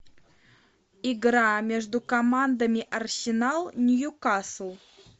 игра между командами арсенал ньюкасл